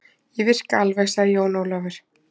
Ég virka alveg, sagði Jón Ólafur